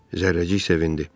Zərrəcik sevindi.